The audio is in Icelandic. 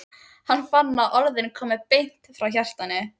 Hann fann að orðin komu beint frá hjartanu.